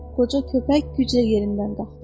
Qoca köpək güclə yerindən qalxdı.